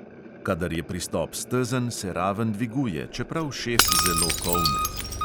Kadar je pristop stezen, se raven dviguje, čeprav šef zelo kolne.